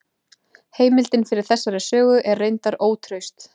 Heimildin fyrir þessari sögu er reyndar ótraust.